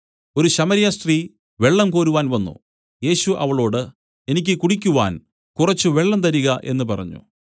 ഒരു ശമര്യസ്ത്രീ വെള്ളംകോരുവാൻ വന്നു യേശു അവളോട് എനിക്ക് കുടിക്കുവാൻ കുറച്ച് വെള്ളം തരിക എന്നു പറഞ്ഞു